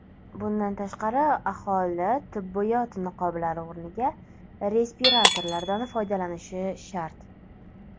Bundan tashqari, aholi tibbiyot niqoblari o‘rniga respiratorlardan foydalanishi shart.